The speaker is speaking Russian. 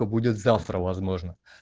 то будет завтра возможно